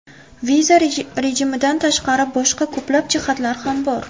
Viza rejimidan tashqari, boshqa ko‘plab jihatlar ham bor.